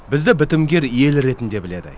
бізді бітімгер ел ретінде біледі